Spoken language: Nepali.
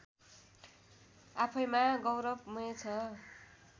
आफैँमा गौरवमय छ